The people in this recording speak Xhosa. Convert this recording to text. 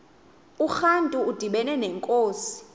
urantu udibana nenkunzi